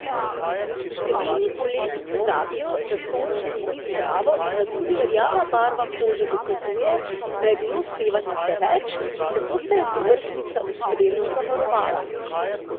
Številni poleti pozabijo, da sončenje ni zdravo in da tudi rjava barva kože dokazuje, da je bilo sevanja preveč, zato se je povrhnjica ustrezno zavarovala.